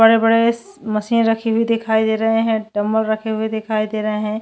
बड़े -बड़े मशीन रखे हुए दिखाई दे रहे है डंबल रखे हुए दिखाई दे रहे है।